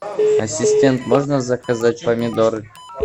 ассистент можно заказать помидоры